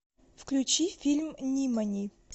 включи фильм нимани